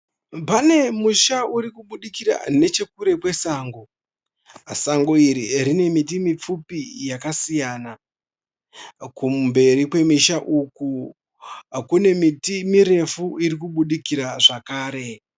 Pane musha urikubudikira nechekure kwesango. Sango iri rine miti mipfupi yakasiyana. Kumberi kwemisha uku kune miti mirefu irikubudikira zvakare.